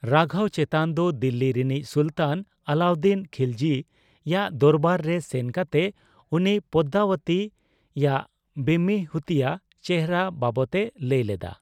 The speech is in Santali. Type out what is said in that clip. ᱨᱟᱜᱷᱚᱣ ᱪᱮᱛᱚᱱ ᱫᱚ ᱫᱤᱞᱞᱤ ᱨᱤᱱᱤᱡ ᱥᱩᱞᱛᱟᱱ ᱟᱞᱞᱟᱩᱫᱫᱤᱱ ᱠᱷᱤᱞᱡᱤ ᱭᱟᱜ ᱫᱚᱨᱵᱟᱨ ᱨᱮ ᱥᱮᱱ ᱠᱟᱛᱮ ᱩᱱᱤ ᱯᱚᱫᱫᱟᱣᱚᱛᱤ ᱭᱟᱜ ᱵᱮᱢᱤᱦᱩᱛᱤᱭᱟ ᱪᱮᱦᱨᱟ ᱵᱟᱵᱚᱛ ᱮ ᱞᱟᱹᱭᱞᱮᱫᱟ᱾